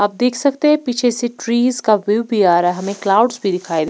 आप देख सकते हैं पीछे से ट्रीज का व्यू भी आ रहा है हमें क्लाउड्स भी दिखाए--